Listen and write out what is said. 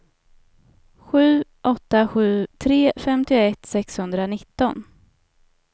sju åtta sju tre femtioett sexhundranitton